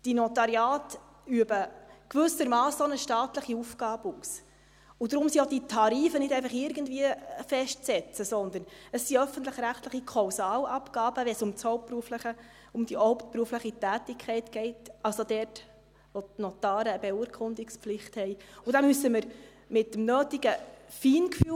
Die Notariate üben gewissermassen auch eine staatliche Aufgabe aus, und darum sind auch diese Tarife nicht einfach irgendwie festzusetzen, sondern es sind öffentlich-rechtliche Kausalabgaben, wenn es um die hauptberufliche Tätigkeit geht – also dort, wo die Notare eine Beurkundungspflicht haben –, und da müssen wir mit dem nötigen Feingefühl vorgehen.